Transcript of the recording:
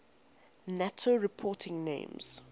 nato reporting names